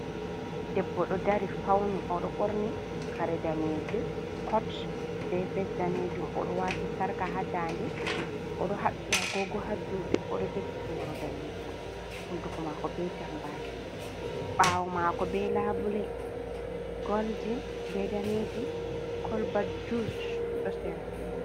Ɗeɓɓo ɗo ɗari fauni. Oɗo ɓorni kare nɗanejum cot ɓe ves nɗanejum. Oɗo wati sarka ha nɗanɗe. Oɗo haɓɓi agogo ha juuɗe. Oɗo jogi ɓoro nɗanejum. Hunɗuko mako ɓe jamɓaki. Ɓawo mako ɓe laɓule, golɗin, ɓe nɗanejum. Kolba juss ɗo sera.